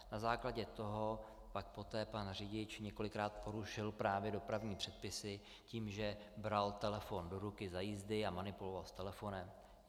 Na základě toho pak poté pan řidič několikrát porušil právě dopravní předpisy tím, že bral telefon do ruky za jízdy a manipuloval s telefonem.